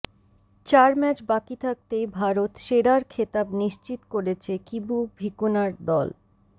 চার ম্যাচ বাকি থাকতেই ভারত সেরার খেতাব নিশ্চিত করেছে কিবু ভিকুনার দল